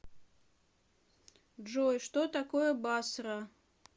джой что такое басра